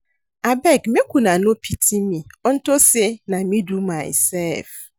Abeg make una no pity me unto say na me do myself